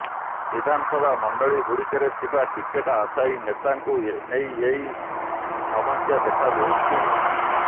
ବିଧାନସଭା ମଣ୍ଡଳୀ ଗୁଡ଼ିକରେ ଥିବା ଟିକେଟ ଆଶାୟୀ ନେତାଙ୍କୁ ନେଇ ଏହି ସମସ୍ୟା ଦେଖାଦେଉଛି